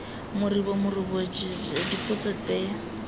moribo morumo jj dipotso tse